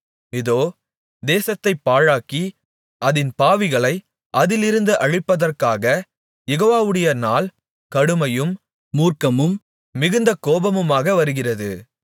இதோ தேசத்தைப் பாழாக்கி அதின் பாவிகளை அதிலிருந்து அழிப்பதற்காகக் யெகோவாவுடைய நாள் கடுமையும் மூர்க்கமும் மிகுந்த கோபமுமாக வருகிறது